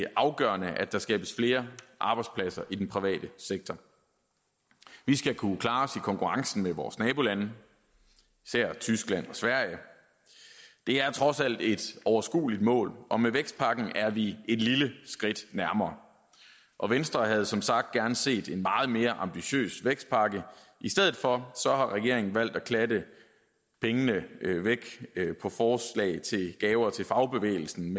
afgørende at der skabes flere arbejdspladser i den private sektor vi skal kunne klare os konkurrencen med vores nabolande især tyskland og sverige det er trods alt et overskueligt mål og med vækstpakken er vi et lille skridt nærmere venstre havde som sagt gerne set en meget mere ambitiøs vækstpakke i stedet for har regeringen valgt at klatte pengene væk til gaver til fagbevægelsen